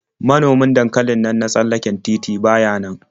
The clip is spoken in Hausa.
Manomin dankalin nan na tsallaken titi ba ya nan.